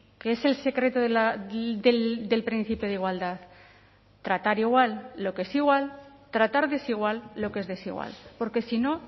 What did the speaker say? qué es el secreto del principio de igualdad tratar igual lo que es igual tratar desigual lo que es desigual porque si no